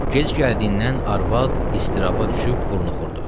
Gec gəldiyindən arvad istiraba düşüb vurnuxurdu.